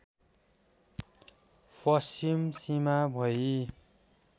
पश्चिम सीमा भई